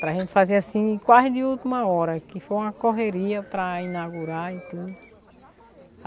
Para gente fazer assim quase de última hora, que foi uma correria para inaugurar e tudo.